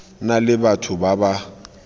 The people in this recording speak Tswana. na le batho ba ba